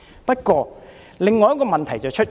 不過，有另一個問題出現。